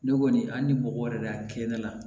Ne kɔni a ni mɔgɔ yɛrɛ de y'a kɛ ne la